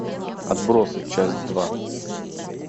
отбросы часть два